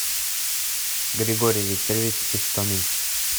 григорий викторович истомин